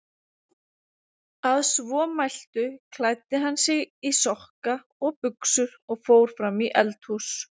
Að svo mæltu klæddi hann sig í sokka og buxur og fór fram í eldhús.